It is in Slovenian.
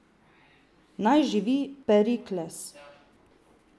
Naj živi Perikles!